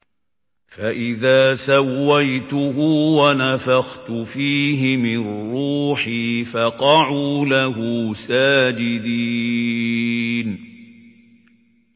فَإِذَا سَوَّيْتُهُ وَنَفَخْتُ فِيهِ مِن رُّوحِي فَقَعُوا لَهُ سَاجِدِينَ